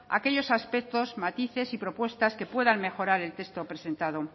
aquellos aspectos matices y propuestas que puedan mejorar el texto presentado